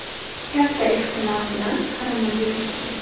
Katta ehtimol bilan koronavirusdan.